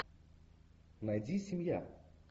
найди семья